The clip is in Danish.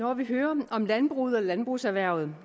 når vi hører om landbruget og landbrugserhvervet